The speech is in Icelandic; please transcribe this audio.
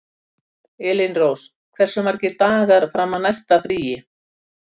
Elínrós, hversu margir dagar fram að næsta fríi?